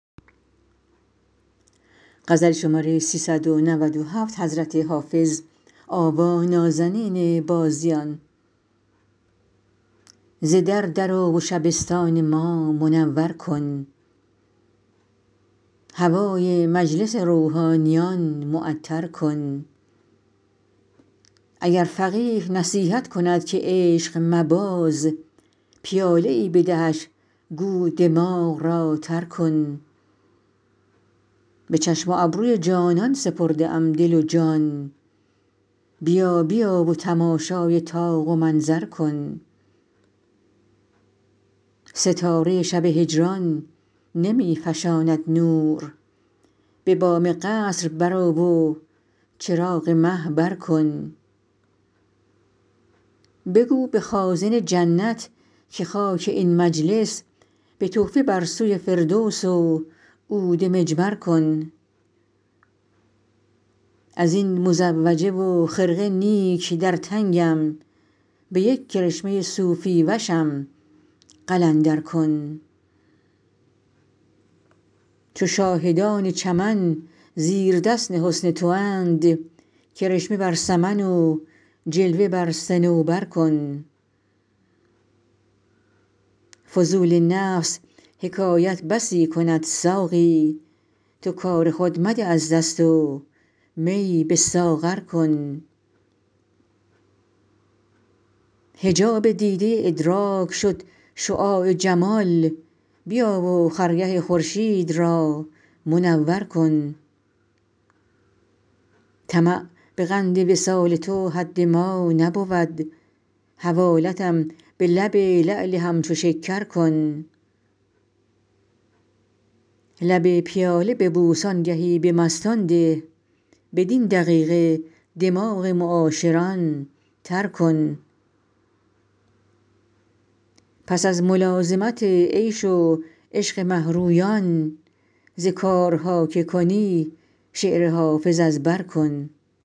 ز در در آ و شبستان ما منور کن هوای مجلس روحانیان معطر کن اگر فقیه نصیحت کند که عشق مباز پیاله ای بدهش گو دماغ را تر کن به چشم و ابروی جانان سپرده ام دل و جان بیا بیا و تماشای طاق و منظر کن ستاره شب هجران نمی فشاند نور به بام قصر برآ و چراغ مه بر کن بگو به خازن جنت که خاک این مجلس به تحفه بر سوی فردوس و عود مجمر کن از این مزوجه و خرقه نیک در تنگم به یک کرشمه صوفی وشم قلندر کن چو شاهدان چمن زیردست حسن تواند کرشمه بر سمن و جلوه بر صنوبر کن فضول نفس حکایت بسی کند ساقی تو کار خود مده از دست و می به ساغر کن حجاب دیده ادراک شد شعاع جمال بیا و خرگه خورشید را منور کن طمع به قند وصال تو حد ما نبود حوالتم به لب لعل همچو شکر کن لب پیاله ببوس آنگهی به مستان ده بدین دقیقه دماغ معاشران تر کن پس از ملازمت عیش و عشق مه رویان ز کارها که کنی شعر حافظ از بر کن